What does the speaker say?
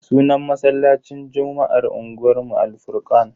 Sunan masallacin juma'ar unguwanmu Al-furkan.